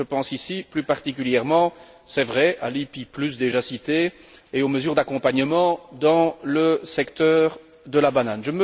Je pense ici plus particulièrement, c'est vrai, à l'ICI déjà cité et aux mesures d'accompagnement dans le secteur de la banane.